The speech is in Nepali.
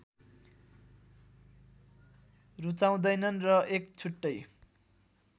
रूचाउँदैनन् र एक छुट्टै